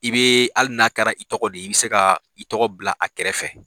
I bɛ hali n'a kɛra i tɔgɔ de ye i bɛ se ka i tɔgɔ bila a kɛrɛfɛ